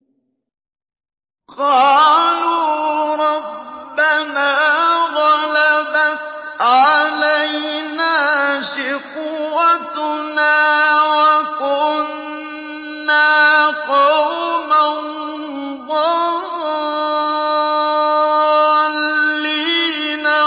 قَالُوا رَبَّنَا غَلَبَتْ عَلَيْنَا شِقْوَتُنَا وَكُنَّا قَوْمًا ضَالِّينَ